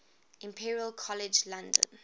imperial college london